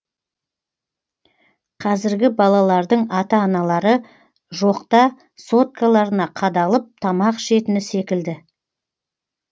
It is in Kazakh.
қазіргі балалардың ата аналары жоқта соткаларына қадалып тамақ ішетіні секілді